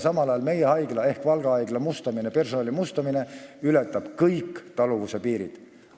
Samal ajal ületab meie haigla ehk Valga haigla mustamine ja personali mustamine kõik taluvuse piirid.